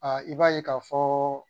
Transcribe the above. i b'a ye k'a fɔɔ